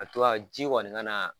ji kɔni kana